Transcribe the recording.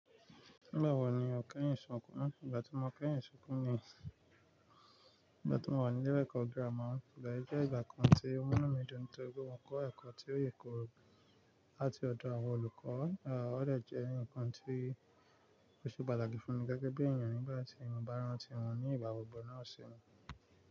Nígbà wo ni o kẹ́yìn sunkún? Ìgbà tí mo kẹ́yìn sunkún ni ìgbà tí mò wà nílé ẹ̀kọ́ gírámà, ìgbà yì jẹ́ ìgbà kan tó mú inú mi dùn nítorí pé mò kọ́ ẹ̀kọ́ tí ó yèkooro láti ọ̀dọ̀ àwọn olùkọ́, à ọ̀dẹ jẹ́ n kan tí ó ṣe pàtàkì fún mi gẹ́gẹ́ bí ènìyàn nígbà tí mo bá ń rántí wọn ní ìgbàgbogbo náà ṣe mi.